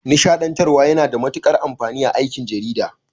Nishaɗantarwa yana da matuƙar amfani a aikin jarida.